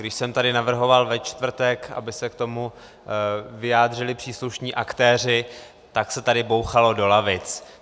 Když jsem tady navrhoval ve čtvrtek, aby se k tomu vyjádřili příslušní aktéři, tak se tady bouchalo do lavic.